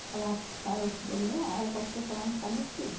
Eu falava para os cara, eu te dou meia hora para você falar onde está meu filho.